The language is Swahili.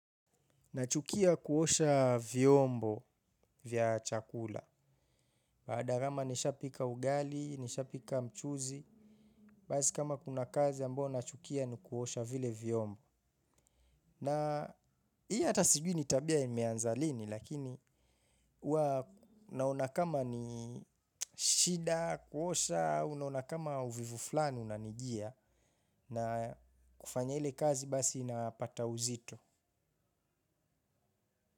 Nachukia kuosha vyombo vya chakula. Baada kama nishapika ugali, nishapika mchuzi. Basi kama kuna kazi ambao nachukia nikuosha vile vyombo. Na hii hata sijui ni tabia imeanza lini. Lakini huwa naona kama ni shida, kuosha, unaona kama uvivu fulani, unanijia. Na kufanya ile kazi basi inapata uzito.